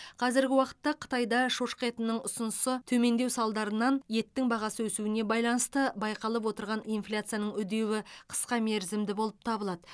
қазіргі уақытта қытайда шошқа етінің ұсынысы төмендеу салдарынан еттің бағасы өсуіне байланысты байқалып отырған инфляцияның үдеуі қысқа мерзімді болып табылады